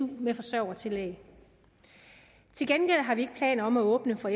med forsørgertillæg til gengæld har vi ikke planer om at åbne for